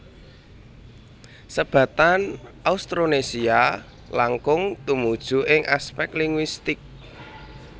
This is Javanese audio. Sebatan Austronesia langkung tumuju ing aspèk linguistik